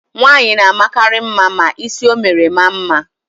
Nwaanyị na-amakarị mma ma ísí o mere maa mma.